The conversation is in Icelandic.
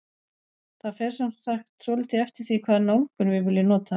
Það fer sem sagt svolítið eftir því hvaða nálgun við viljum nota.